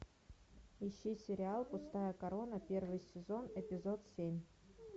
ищи сериал пустая корона первый сезон эпизод семь